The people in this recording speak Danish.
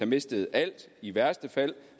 mistet alt i værste fald